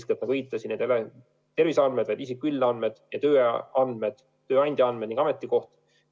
Nagu ma viitasin, eeskätt ei ole need terviseandmed, vaid isiku üldandmed, tema tööandja andmed ning ametikoha andmed.